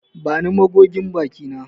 Bani magogin baki na.